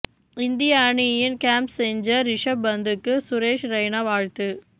இந்திய அணியின் game changer Rishabh பந்துக்கு சுரேஷ் ரெய்னா வாழ்த்து